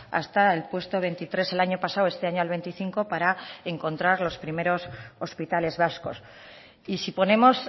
hasta el puesto veintitrés el año pasado este año al veinticinco para encontrar los primeros hospitales vascos y si ponemos